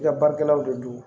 I ka baarakɛlaw de don